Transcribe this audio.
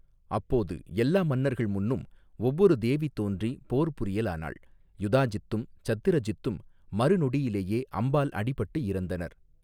அப்போது எல்லா மன்னர்கள் முன்னும் ஒவ்வொரு தேவி தோன்றி போர் புரியலானாள் யுதாஜித்தும் சத்திரஜித்தும் மறுநொடியிலேயே அம்பால் அடிபட்டு இறந்தனர்.